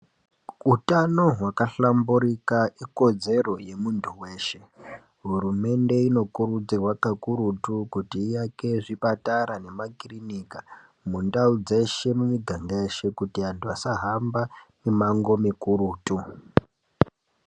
Utano hwakahlamburika ikodzero yemuntu veshe. Hurumende inokurudzirwa kakurutu kuti iyake zvipatara nemakirinika mundau dzeshe, mumiganga yeshe. Kuti vantu vasahamba mimango mikurutu.